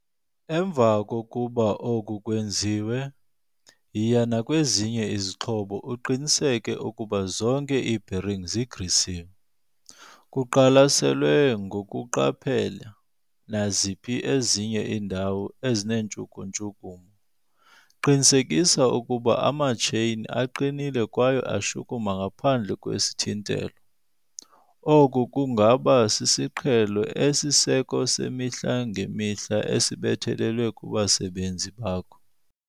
Emva kokuba oku kwenziwe, yiya nakwezinye izixhobo uqiniseke ukuba zonke iibheringi zigrisiwe, kuqwalaselwe ngokuqaphela naziphi ezinye iindawo ezineentshuku-ntshukumo. Qinisekisa ukuba amatsheyini aqinile kwaye ashukuma ngaphandle kwesithintelo. Oku kungaba sisiqhelo esisiseko semihla ngemihla esibethelelwa kubasebenzi bakho.